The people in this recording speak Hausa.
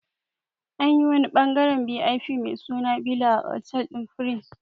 Anyi wani ɓangaren VIP mai suna bila a otal ɗin prince